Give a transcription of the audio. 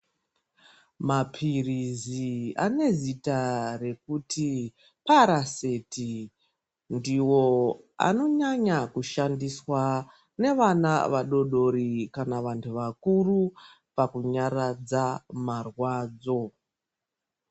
Maphirizi ane zita rekuti paraseti ndiwo anonyanya kushandiswa nevana vadodori kana vanhu vakuru pakunyaradza marwadzo.